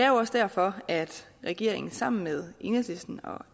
også derfor at regeringen sammen med enhedslisten og